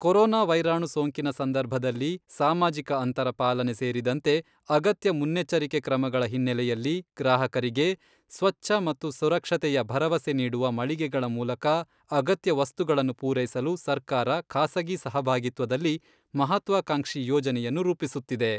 Corona ವೈರಾಣು ಸೋಂಕಿನ ಸಂದರ್ಭದಲ್ಲಿ ಸಾಮಾಜಿಕ ಅಂತರ ಪಾಲನೆ ಸೇರಿದಂತೆ ಅಗತ್ಯ ಮುನ್ನೆಚ್ಚರಿಕೆ ಕ್ರಮಗಳ ಹಿನ್ನೆಲೆಯಲ್ಲಿ ಗ್ರಾಹಕರಿಗೆ ಸ್ವಚ್ಛ ಮತ್ತು ಸುರಕ್ಷತೆಯ ಭರವಸೆ ನೀಡುವ ಮಳಿಗೆಗಳ ಮೂಲಕ ಅಗತ್ಯ ವಸ್ತುಗಳನ್ನು ಪೂರೈಸಲು ಸರ್ಕಾರ, ಖಾಸಗಿ ಸಹಭಾಗಿತ್ವದಲ್ಲಿ ಮಹತ್ವಾಕಾಂಕ್ಷಿ ಯೋಜನೆಯನ್ನು ರೂಪಿಸುತ್ತಿದೆ.